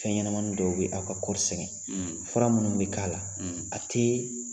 Fɛn ɲɛnamani dɔw bɛ aw ka kɔɔri sɛgɛn fura minnu bɛ k'a la a tɛ